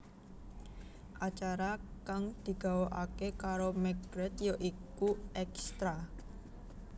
Acara kang digawakaké karo McGrath ya iku Extra